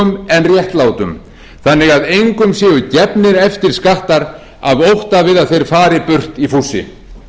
en réttlátum þannig að engum séu gefnir eftir skattar af ótta við að þeir fari burt í fússi